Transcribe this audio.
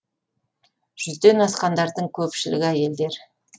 жүзден асқандардың көпшілігі әйелдер